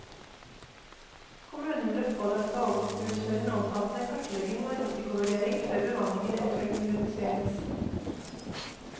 Kommunen ble pålagt å utføre en omfattende kartlegging og risikovurdering før bemanningen eventuelt kunne reduseres.